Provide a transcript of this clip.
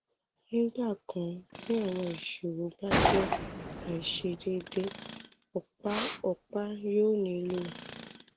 nígbà kan tí àwọn ìṣirò bá jẹ́ àìṣedédé ọ̀pá ọ̀pá yóò nílò